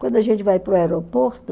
Quando a gente vai para o aeroporto,